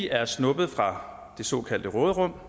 er snuppet fra det såkaldte råderum